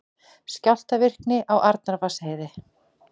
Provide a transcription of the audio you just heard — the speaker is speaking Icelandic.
Skjálftavirkni á Arnarvatnsheiði